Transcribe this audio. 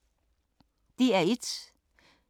DR1